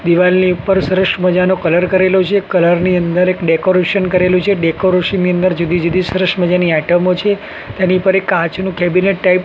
દીવાલની ઉપર સરસ મજાનો કલર કરેલો છે કલર ની અંદર એક ડેકોરેશન કરેલુ છે ડેકોરેશન ની અંદર જુદી જુદી સરસ મજાની આઇટમો છે તેની ઉપર એક કાચનું કેબિનેટ ટાઈપ --